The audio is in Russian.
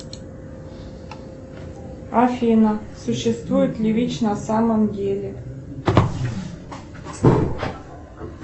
афина существует ли вич на самом деле